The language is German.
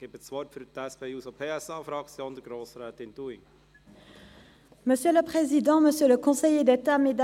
– Ich gebe das Wort für die SP-JUSO-PSA-Fraktion Grossrätin Dunning.